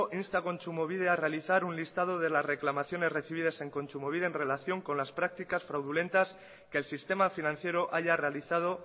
insta a kontsumobide a realizar un listado de la reclamaciones recibidas en kontsumobide en relación con las practicas fraudulentas que el sistema financiero haya realizado